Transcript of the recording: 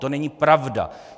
To není pravda.